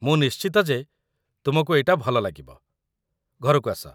ମୁଁ ନିଶ୍ଚିତ ଯେ ତୁମକୁ ଏଇଟା ଭଲ ଲାଗିବ, ଘରକୁ ଆସ !